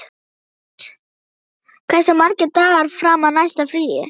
Olgeir, hversu margir dagar fram að næsta fríi?